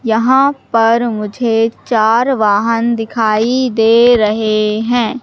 यहां पर मुझे चार वाहन दिखाई दे रहे हैं।